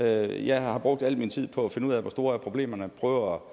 jeg har brugt al min tid på at finde ud af hvor store problemerne er og